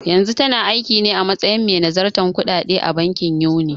Yanzu tana aikine a matsayin mai nazartar kuɗaɗe a bankin Union.